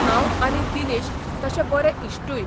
हांव आनी दिनेश तशे बरे इश्टूय.